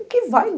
O que vai?